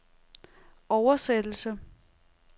oversættelse